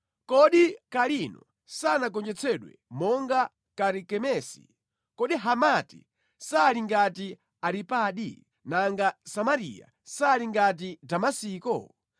‘Kodi Kalino sanagonjetsedwe monga Karikemesi? Kodi Hamati sali ngati Aripadi, nanga Samariya sali ngati Damasiko?